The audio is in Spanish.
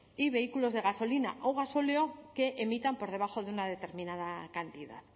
y vehículos de gasolina o gasóleo que emitan por debajo de una determinada cantidad